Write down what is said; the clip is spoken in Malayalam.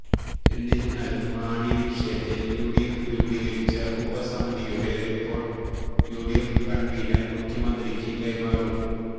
എന്നിരുന്നാലും മാണിവിഷയത്തില് യുഡിഎഫ് രൂപീകരിച്ച ഉപസമിതിയുടെ റിപ്പോര്ട്ട് യുഡിഎഫ് കണ്വീനര് മുഖ്യമന്ത്രിയ്ക്ക് കൈമാറും